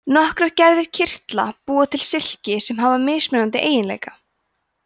nokkrar gerðir kirtla búa til silki sem hafa mismunandi eiginleika